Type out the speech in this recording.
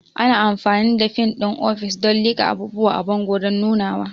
Ana amfani da fin ɗin ofis don liƙa abubuwa a bango don nunawa.